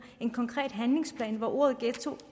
en konkret handlingsplan hvor ordet ghetto